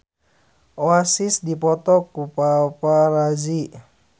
Oasis dipoto ku paparazi